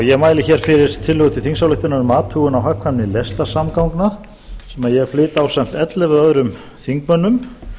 ég mæli hér fyrir tillögu til þingsályktunar um athugun á hagkvæmni lestarsamgangna sem ég flyt ásamt ellefu öðrum þingmönnum